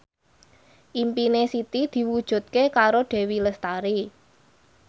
impine Siti diwujudke karo Dewi Lestari